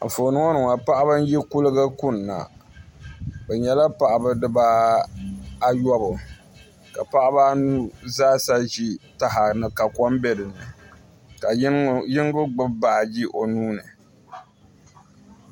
Anfooni ni ŋɔ ni ŋɔ paɣiba n yi kuliga bi yɛla paɣiba ayobu ka paɣaba anu zaa sa zi taha ka kom bɛ dinni ka yino gbibi baaji o nuu ni.